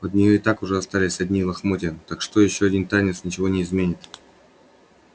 от нее и так уже остались одни лохмотья так что ещё один танец ничего не изменит